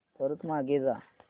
परत मागे जा